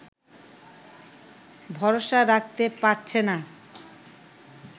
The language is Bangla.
ভরসা রাখতে পারছে না